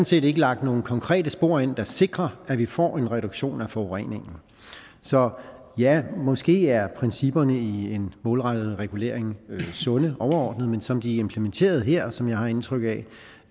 set ikke lagt nogen konkrete spor ind der sikrer at vi får en reduktion af forureningen så ja måske er principperne i en målrettet regulering sunde overordnet set men som de er implementeret her som jeg har indtryk